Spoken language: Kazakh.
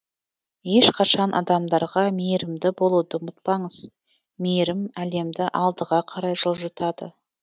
ешқашан адамдарға мейірімді болуды ұмытпаңыз мейірім әлемді алдыға қарай жылжытады